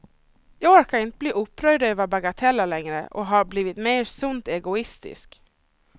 Jag orkar inte bli upprörd över bagateller längre, och har blivit mer sunt egoistisk.